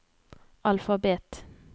alfabet